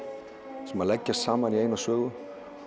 sem leggjast saman í eina sögu